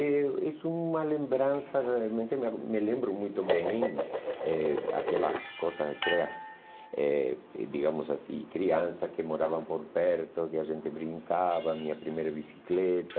É, és uma lembrança realmente, me re me lembro muito bem eh aquelas coisas aquelas, eh digamos assim, crianças que moravam por perto, que a gente brincava, minha primeira bicicleta.